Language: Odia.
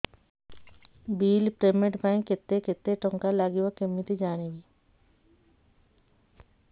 ବିଲ୍ ପେମେଣ୍ଟ ପାଇଁ କେତେ କେତେ ଟଙ୍କା ଲାଗିବ କେମିତି ଜାଣିବି